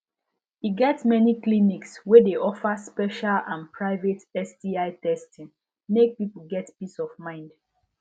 e get many clinics wey de offer special and private sti testing mk people get peace of mind